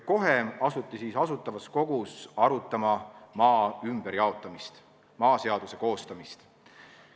Kohe asuti Asutavas Kogus arutama maa ümberjaotamist, maaseaduse koostamist.